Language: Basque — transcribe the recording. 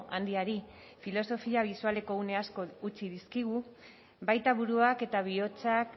handiari filosofia bisualeko une asko utzi dizkigu baita buruak eta bihotzak